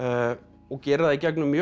og gerir það í gegnum mjög